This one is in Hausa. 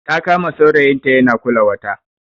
Ta kama saurayinta yana kula wata